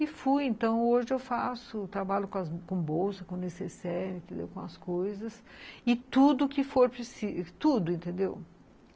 E fui, então hoje eu faço trabalho com bolsa, com necessaire, com as coisas, e tudo que for preciso, tudo, entendeu?